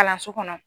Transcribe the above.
Kalanso kɔnɔ